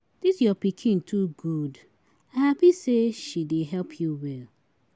Dis your pikin too good, I happy say she dey help you well.